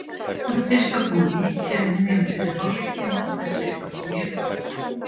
Það fyrsta kom úr víti um miðjan fyrri hálfleikinn og það seinna kom í uppbótartíma.